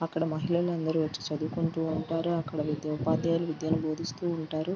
అక్కడ మహిళలు అందరూ వచ్చి చదువుకుంటూ ఉంటారు అక్కడ ఉపద్యాయులు విద్య ను భోధిస్తూ ఉంటారు.